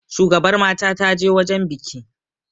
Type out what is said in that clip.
shugabar mata ta je wajen biki